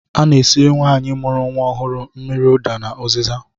A na-esiri nwaanyị mụrụ nnwa ọhụụ mmiri ụda na ụzịza